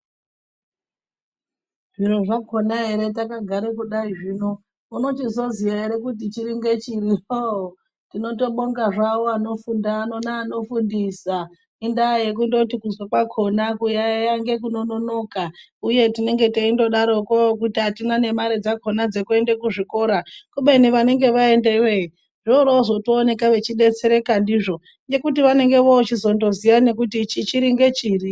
Zviro zvakona ere takagare kudai kuno unochizoziya ere kuti chiri ngechiri hoo, tinotobonga zvayo anofunda neano fundisa indaa yekundoti kuzwa kwakona kuyaya nge kunonoka uye tinenge teindodaroko kuti atina ne mare dzakona dzekuende kuzvikora kubeni vanege vaendeyo er voroovozoto oneka veidetsereka ndizvo nekuti vanenge vochindozoziya kuti ichi chiri ngechiri.